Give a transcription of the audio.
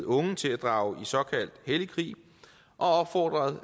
unge til at drage i såkaldt hellig krig og opfordret